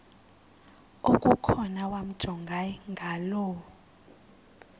okukhona wamjongay ngaloo